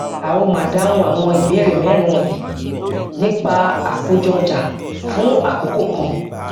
a ó máa dáhùn àwọn ìbéèrè mérin wọnyìí nípa àkójọọjà fún àkókò kan